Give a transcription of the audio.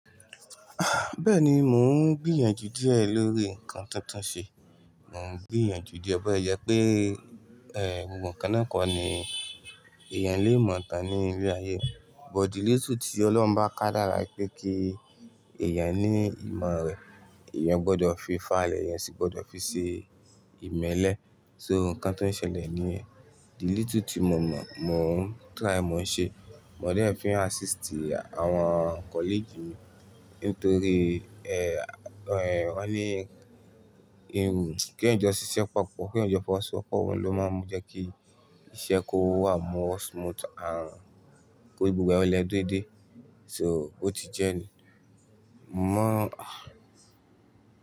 Ah! Bẹ́ẹ̀ni mò ń gbìyànjú díẹ̀ lórí ǹkan tuntun ṣe. Mò ń gbìyànjú díẹ̀. Ọ̀pẹ yẹ pé, ẹ́, gbogbo nkan náà kọ́ ni èèyàn lè mọ̀ tán ní ilé ayé. But the little tí Ọlọ́run bá ká dára pé kí èèyàn ní ìmọ̀ rẹ̀, èèyàn gbọdọ̀ fi fà ilé, èèyàn sì gbọdọ̀ fi ṣe ìmẹ́lẹ́. So ǹkan tó ń ṣẹlẹ̀ ní yén little tí mo mọ̀, mò ń try, mò ń ṣe. Mo dén fi ń assistí àwọn colleague mi nítorí, ẹ́, ẹ́, wọ́n ní irù kí Èèyàn jó ṣiṣẹ́ papọ̀, kí Èèyàn jó fọwọ́ Ṣọwọ́pọ̀ ohun ló máa ń mú jẹ kí iṣẹ́ kó wà mọ́ smooth, àrán kí gbogbo ẹlẹ́dè dé. So ó ti jẹ́ ẹni mó ọ̀